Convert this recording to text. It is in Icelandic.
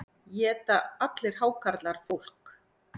Éta allir hákarlar fólk?